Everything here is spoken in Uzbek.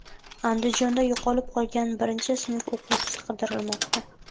Andijonda yo‘qolib qolgan birinchi sinf o‘quvchisi qidirilmoqda.